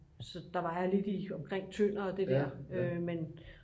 så der var jeg lidt i omkring Tønder og det der men